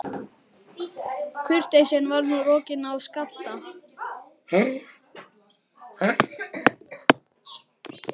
Kurteisin var nú rokin af Skapta.